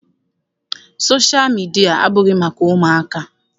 Sosha midia abụghị maka ụmụaka.